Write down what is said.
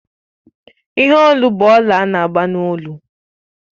Ihe Olu bụ ọlà ana-agba n'olu